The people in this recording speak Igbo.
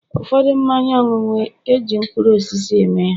ụfọdụ mmanya ọṅụṅụ, e ji mkpụrụ osisi eme ya